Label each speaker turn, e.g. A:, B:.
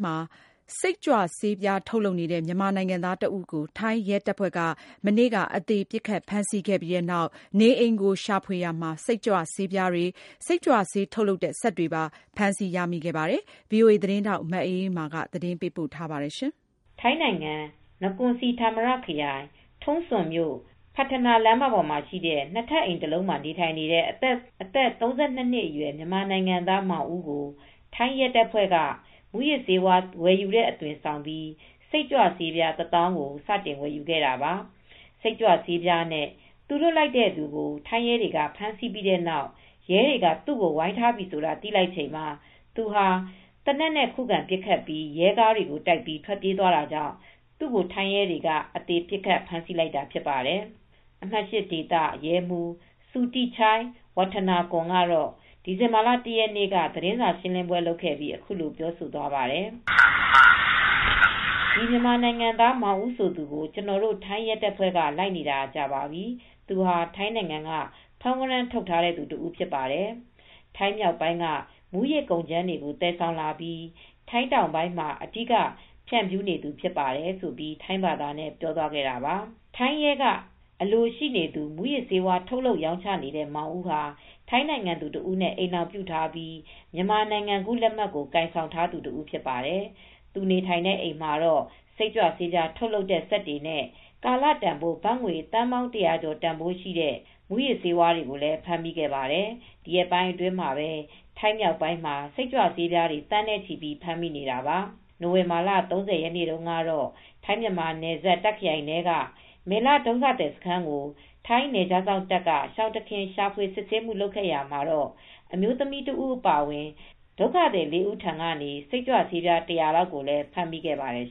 A: မှာ စိတ်ကြွဆေးပြား ထုတ်လုပ်နေတဲ့ မြန်မာနိုင်ငံသားတဦးကို ထိုင်းရဲတပ်ဖွဲ့က ပစ်ခတ်ဖမ်းဆီးရာမှာ အသေဖမ်းမိ ခဲ့ပြီး ဒီဇင်ဘာလ ၁ရက်နေ့ကသူရဲ့ နေအိမ်ကို ရှာဖွေရာမှာ စိတ်ကြွဆေးပြား ၅သိန်းအိုက်စ်လို့ ခေါ်တဲ့ မူးယစ်ဆေး ၁၀ကီလို နဲ့ စိတ်ကြွဆေး ထုတ်လုပ်တဲ့ စက်တွေပါ ဖမ်းမိခဲ့ကြောင်း သတင်းစာရှင်းလင်းပွဲလုပ်ခဲ့ပါတယ်။ ဗွီအိုအေ သတင်းထောက် မအေးအေးမာ သတင်းပေးပို့ ထားပါတယ်။ ထိုင်းနိုင်ငံ နကွန်စီဌာမရခရိုင်၊ ထုံ
B: းစွန်မြို့၊ ဖတ်ထနာ လမ်းမပေါ်မှာ ရှိတဲ့ ၂ထပ်အိမ်တလုံးမှာ နေထိုင်နေတဲ့ အသက် ၃၂ အရွယ် မြန်မာနိုင်ငံသား မောင်ဦးကို ထိုင်း ရဲတပ်ဖွဲ့က မူးယစ်ဆေးဝါး ဝယ်ယူတဲ့ အသွင်ဆောင်ပြီး စိတ်ကြွဆေးပြား တသောင်းကို စတင် ဝယ်ယူခဲ့တာပါ။ စိတ်ကြွဆေးနဲ့ သူလွှတ်လိုက်တဲ့သူကို ထိုင်းရဲတွေက ဖမ်းဆီးခဲ့ပြီးတဲ့နောက်ရဲတွေက သူ ကို ဝိုင်းထားပြီ ဆိုတာ သိလိုက်ချိန်မှာ သူဟာ သေနတ်နဲ့ ခုခံပစ်ခတ်ပြီး ရဲကားတွေကို တိုက် ထွက်ပြေးသွားတာကြောင့် သူကို ထိုင်းရဲတွေက အသေ ပစ်ခတ်ဖမ်းဆီး လိုက်တာဖြစ်တယ်လို့ ဆိုပါတယ်။ အမှတ် (၈) ဒေသရဲမှူး စုတိချိုင်ဝပ်ထနာကွန် ကတော့ ဒီဇင်ဘာလ ၁ရက်နေ့က သတင်းစာ ရှင်းလင်းပွဲ လုပ်ခဲ့ပြီး အခုလို ပြောသွားပါတယ်။ “ဒီမြန်မာနိုင်ငံသား မောင်ဦးဆိုသူကို ကျနော်တို့ ထိုင်းရဲတပ်ဖွဲ့က လိုက်နေတာကြာပြီ။ သူဟာ ထိုင်းနိုင်ငံက ဖမ်းဝရမ်း ထုတ်ထားတဲ့ သူဖြစ်ပါတယ်။ ထိုင်းမြောက်ပိုင်းက မူးယစ်ကုန်ကြမ်းတွေကို သယ်ဆောင်လာပြီး ထိုင်းတောင်ပိုင်းမှာ အဓိက ဖြန့်ဖြူးနေသူဖြစ်ပါတယ်။” ထိုင်းရဲက အလိုရှိနေတဲ့ မူးယစ်ဆေးဝါး ထုတ်လုပ်ရောင်းချနေတဲ့ မောင်ဦးဟာ ထိုင်းနိုင်ငံသူတဦး နဲ့ အိမ်ထောင်ပြုထားပြီး မြန်မာနိုင်ငံကူး လက်မှတ်ကို ကိုင်ဆောင်ထားသူ တဦးဖြစ်ပါတယ်။ သူနေထိုင်နေတဲ့ အိမ်မှာတော့ စိတ်ကြွဆေးပြား ထုတ်လုပ်တဲ့ စက်တွေနဲ့ ကာလတန်ဖိုး ဘတ်ငွေ သန်းပေါင်း ၁၀၀ကျော် တန်ဖိုးရှိတဲ့ မူးယစ်ဆေးဝါးတွေကို ဖမ်းမိခဲ့ပါတယ်။ ဒီရက်ပိုင်းမှာပဲ ထိုင်းမြောက်ပိုင်းမှာ စိတ်ကြွဆေးပြားတွေ သန်းနဲ့ ချီပြီး ဖမ်းမိနေတာပါ။ နိုဝင်ဘာလ ၃၀ ရက်နေ့ ကတော့ ထိုင်း-မြန်မာနယ်စပ် တာ့ခရိုင်ထဲက မယ်လဒုက္ခသည် စခန်းကို ထိုင်း နယ်ခြားစောင့် တပ်က ရှောင်တခင် စစ်ဆေးရှာဖွေမူ လုပ်ရာမှာ အမျိုးသမီးတဦး အပါအဝင် ဒုက္ခသည်၄ဦးဆီက စိတ်ကြွဆေး ၁၀၀လောက်ကိုလည်း ဖမ်းမိခဲ့ပါတယ်